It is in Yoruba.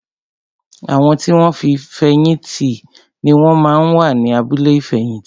Àwọn tí wọn ti fẹ̀yìn tì ni wón máa ń wà ní abúlé ìfẹ̀yìntì